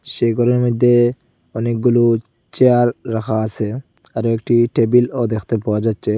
সেই ঘরের মইধ্যে অনেকগুলো চেয়ার রাখা আসে আরও একটি টেবিলও দেখতে পাওয়া যাচ্ছে।